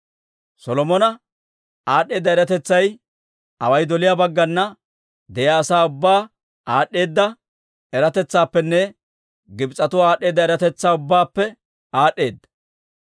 Solomona aad'd'eeda eratetsay away doliyaa baggana de'iyaa asaa ubbaa aad'd'eeda eratetsaappenne Gibs'etuwaa aad'd'eeda eratetsaa ubbaappe aad'd'eedda.